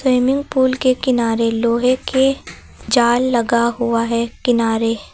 Swimming pool के किनारे लोहे के जाल लगा हुआ है किनारे।